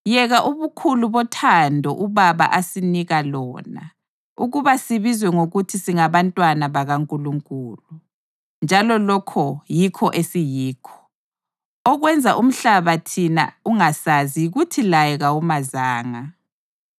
Yeka ubukhulu bothando uBaba asinika lona, ukuba sibizwe ngokuthi singabantwana bakaNkulunkulu! Njalo lokho yikho esiyikho! Okwenza umhlaba thina ungasazi yikuthi laye kawumazanga.